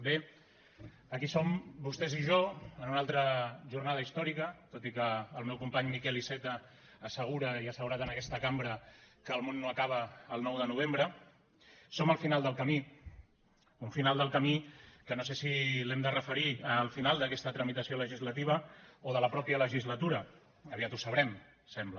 bé aquí som vostès i jo en una altra jornada històrica tot i que el meu company miquel iceta assegura i ha assegurat en aquesta cambra que el món no acaba el nou de novembre som al final del camí un final del camí que no sé si l’hem de referir al final d’aquesta tramitació legislativa o de la mateixa legislatura aviat ho sabrem sembla